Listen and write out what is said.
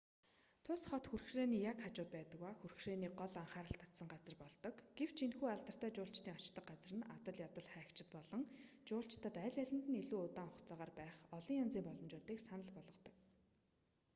тус хот хүрхрээний яг хажууд байдаг ба хүрхрээ гол анхаарал татсан газар болдог гэвч энэхүү алдартай жуулчдын очдог газар нь адал явдаг хайгчид болон жуулчдад аль алинд нь илүү удаан хугацаагаар байх олон янзын боломжуудыг санал болгодог